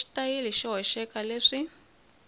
na xitayili xo hoxeka leswi